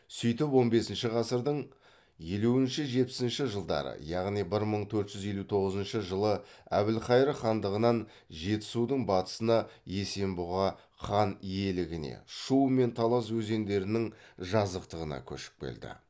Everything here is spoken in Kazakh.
сөйтіп он бесінші ғасырдың елуінші жетпісінші жылдары яғни бір мың төрт жүз елу тоғызыншы жылы әбілхайыр хандығынан жетісудың батысына есенбұға хан иелігіне шу мен талас өзендерінің жазықтығына көшіп келді